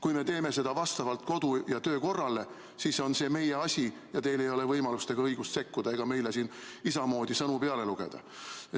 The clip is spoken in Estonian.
Kui me teeme seda vastavalt kodu- ja töökorrale, siis on see meie asi ja teil ei ole võimalust ega õigust sekkuda ega meile siin isa moodi sõnu peale lugeda.